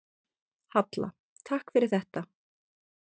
Halla: Takk fyrir þetta.